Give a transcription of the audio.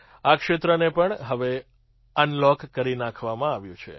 આ ક્ષેત્રને પણ હવે અનલૉક કરી નાખવામાં આવ્યું છે